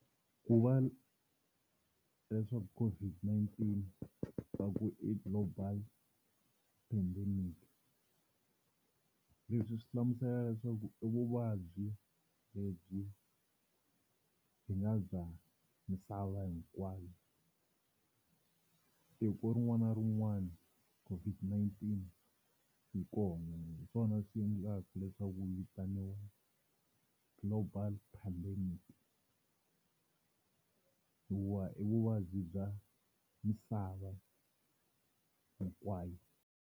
Ku va leswaku COVID-19 va ku i Global Pandemic leswi swi hlamusela leswaku i vuvabyi lebyi byi nga bya misava hinkwayo, tiko rin'wana na rin'wana COVID-19 yi kona hi swona swi endlaka leswaku yi vitaniwa Global Pandemic hikuva i vuvabyi bya misava hinkwayo.